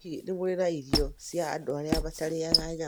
Hihi nĩ mũrĩ na irio cia andũ arĩa matarĩanga nyama?